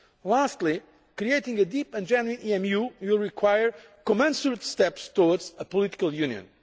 Lastly, creating a deep and genuine EMU will require commensurate steps towards a political Union.